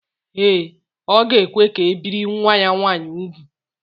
Ee, ọ ga-ekwe ka e biri nwa ya nwaanyị úgwù